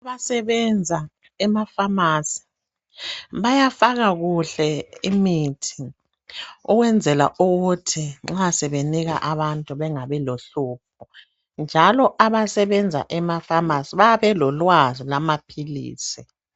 Abasebenza ema pharmacy bayafaka kuhle imithi ukwenzela ukuthi nxa sebenika abantu bengabi lohlupho, njalo abasebenza ema pharmacy bayabe belolwazi lwamaphilisi.